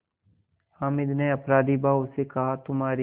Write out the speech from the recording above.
हामिद ने अपराधीभाव से कहातुम्हारी